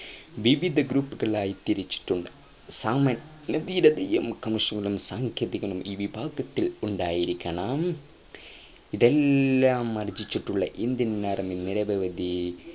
വിവിധ group കളായി തിരിച്ചിട്ടുണ്ട്അ സാമാന്യ ധീരതയും കർമ്മകുശലയും സാങ്കേതികജ്ഞാനവും ഈ വിഭാഗത്തിൽ ഉണ്ടായിരിക്കണം ഇതെല്ലാം ആർജ്ജിച്ചിട്ടുള്ള Indian army നിരവധി